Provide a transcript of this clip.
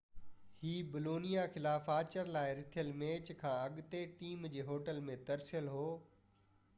هِي Bologna خلاف آچر لاءِ رٿيل ميچ کان اڳتي ٽيم جي هوٽل ۾ ترسيل هو